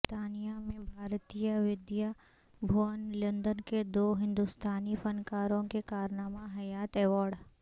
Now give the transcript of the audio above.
برطانیہ میں بھارتیہ ودیا بھون لندن کے دو ہندوستانی فنکاروں کو کارنامہ حیات ایوارڈ